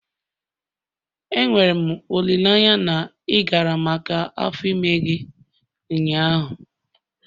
Enwere m olileanya na ị gara maka ule afọ ime gị ụnyaahụ?